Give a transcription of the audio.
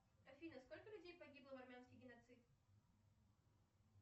афина сколько людей погибло в армянский геноцид